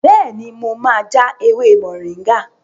Bẹ́ẹ̀ni, mo ma ja ewé mọ̀ríngà